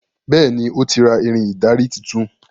Béèni o tí ra Ìrìn ìdarí títún.